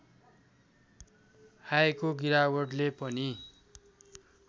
आएको गिरावटले पनि